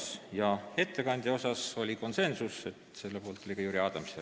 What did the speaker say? Ettekandja määramise otsus oli konsensuslik, selle poolt oli ka Jüri Adams.